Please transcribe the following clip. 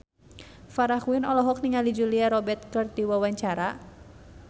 Farah Quinn olohok ningali Julia Robert keur diwawancara